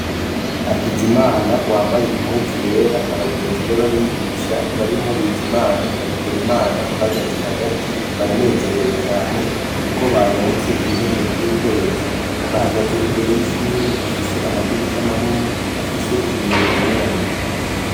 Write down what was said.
Hakizimana yambaye impuzu yera n'abagenzi b'abigisha harimwo Bizimana na Bikorimana bahagaze hagati baranezerewe cane kuko baronse ibihembo vy'ukwezi bahagaze imbere y'ishure bifise amadirisha manini afise ibiyo bibonerana.